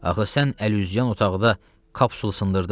Axı sən əlüzən otaqda kapsula sındırdın.